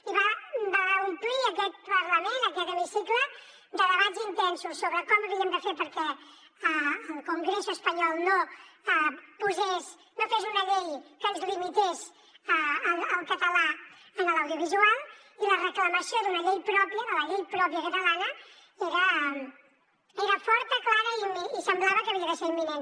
i va omplir aquest parlament aquest hemicicle de debats intensos sobre com ho havíem de fer perquè el congreso espanyol no posés no fes una llei que ens limités el català en l’audiovisual i la reclamació d’una llei pròpia de la llei pròpia catalana era forta clara i semblava que havia de ser imminent